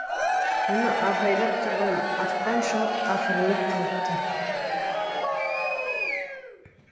мұны абайлап тұрған ақтан шал қақырынып қалыпты